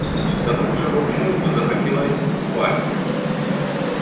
к тому же волчонку захотелось спать